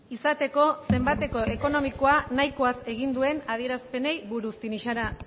izateko zenbateko ekonomiko nahikoaz egin dituen adierazpenei buruz tinixara